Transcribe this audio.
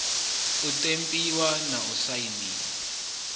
u ṱempiwa na u sainwa